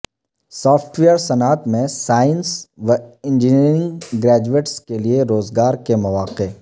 soft ویر صنعت میں science و انجینئرنگ گریجویٹس کیلئے روزگار کے مواقع